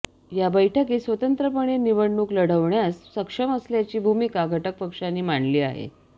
या बैठकीत स्वतंत्रपणे निवडणूक लढवण्यास सक्षम असल्याची भूमिका घटकपक्षांनी मांडली आहे